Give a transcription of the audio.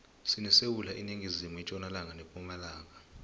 sinesewula iningizimu itjonalanga nepumalanga